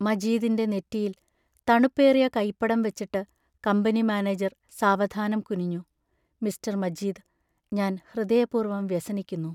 മജീദിന്റെ നെറ്റിയിൽ തണുപ്പേറിയ കൈപ്പടം വച്ചിട്ട് കമ്പനി മാനേജർ സാവധാനം കുനിഞ്ഞു: മിസ്ററർ മജീദ്, ഞാൻ ഹൃദയപൂർവം വ്യസനിക്കുന്നു.